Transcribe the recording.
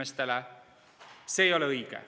See ei ole õige.